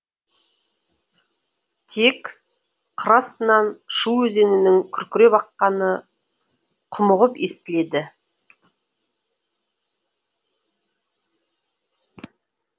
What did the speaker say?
тек қыр астынан шу өзенінің күркіреп аққаны құмығып естіледі